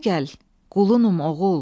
Bəri gəl, qulununm oğul.